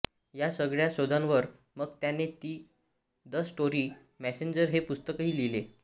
या सगळ्या शोधांवर मग त्याने दी स्टोरी मेसेंजर हे पुस्तकही लिहिले